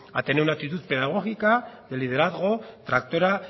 a tener una actitud pedagógica de liderazgo tractora